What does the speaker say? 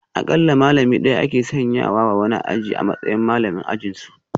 Akalla malami daya ake sanya wa wani aji a matsayin malamin ajinsu